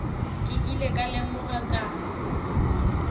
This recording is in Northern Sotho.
ke ile ka lemoga ka